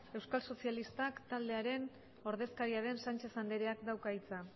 euskal sozialistak taldearen ordezkaria den sánchez andereak dauka hitza